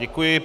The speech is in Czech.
Děkuji.